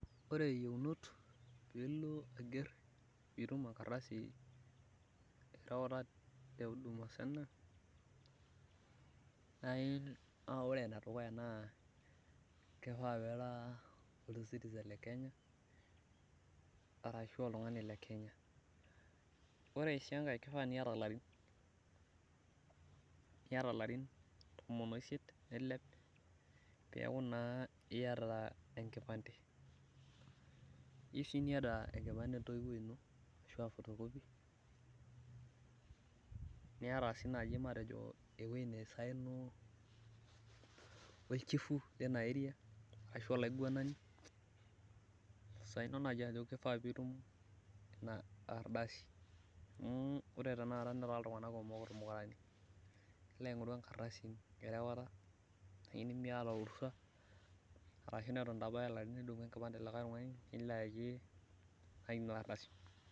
ore iyieunot pee itum enkardasi te huduma senta ore , enedukuya naa kifaa pee ira ocitizen lekenya, arashu oltungani lekenya, ore sii enkae kifaa niyata ilarin tomon wosiet nilep, pee eku naa iyata enkipante, iyieu sii niyata enkipante entoiwuoi ino ashu fotokopi, niiyata sii eweji nisayono olchifu lina eria ashu aa olaiguanani isayono ajo kishaa pee itum ina adasi, ore tenakata netaa iltunganak kumok idakitarini, erawota ashu nimiyata orusa.